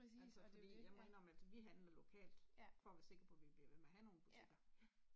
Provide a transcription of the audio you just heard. Altså fordi jeg må indrømme altså vi handler lokalt for at være sikker på vi bliver ved med at have nogen butikker ja